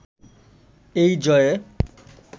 এই জয়ে